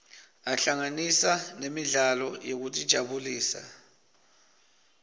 ahlanganisa nemidlalo yekutijabulisa